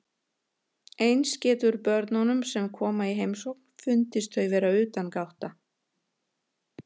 Eins getur börnunum sem koma í heimsókn fundist þau vera utangátta.